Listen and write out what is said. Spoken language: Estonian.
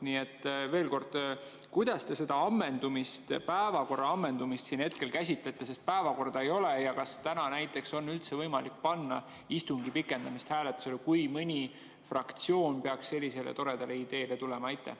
Nii et veel kord: kuidas te seda päevakorra ammendumist siin hetkel käsitlete, sest päevakorda ei ole, ja kas täna näiteks on üldse võimalik panna istungi pikendamist hääletusele, kui mõni fraktsioon peaks sellisele toredale ideele tulema?